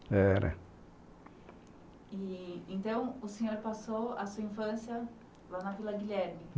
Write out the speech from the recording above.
Era. Então, o senhor passou a sua infância lá na Vila Guilherme?